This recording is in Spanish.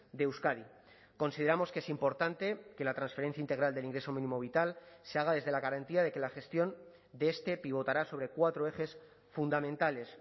de euskadi consideramos que es importante que la transferencia integral del ingreso mínimo vital se haga desde la garantía de que la gestión de este pivotará sobre cuatro ejes fundamentales